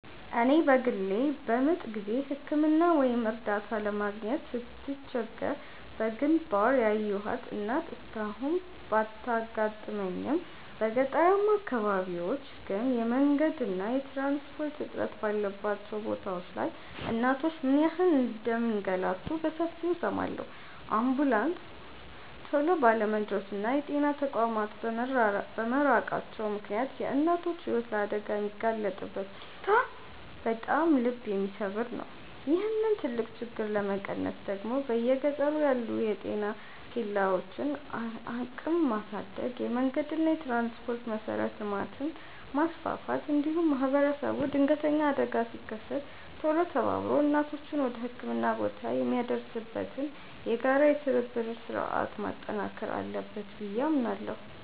እኔ በግሌ በምጥ ጊዜ ሕክምና ወይም እርዳታ ለማግኘት ስትቸገር በግንባር ያየኋት እናት እስካሁን ባታጋጥመኝም፣ በገጠራማ አካባቢዎች ግን የመንገድና የትራንስፖርት እጥረት ባለባቸው ቦታዎች ላይ እናቶች ምን ያህል እንደሚንገላቱ በሰፊው እሰማለሁ። አምቡላንስ ቶሎ ባለመድረሱና የጤና ተቋማት በመራቃቸው ምክንያት የእናቶች ሕይወት ለአደጋ የሚጋለጥበት ሁኔታ በጣም ልብ የሚሰብር ነው። ይህንን ትልቅ ችግር ለመቀነስ ደግሞ በየገጠሩ ያሉ የጤና ኬላዎችን አቅም ማሳደግ፣ የመንገድና የትራንስፖርት መሠረተ ልማትን ማስፋፋት፣ እንዲሁም ማኅበረሰቡ ድንገተኛ አደጋ ሲከሰት ቶሎ ተባብሮ እናቶችን ወደ ሕክምና ቦታ የሚያደርስበትን የጋራ የትብብር ሥርዓት ማጠናከር አለበት ብዬ አምናለሁ።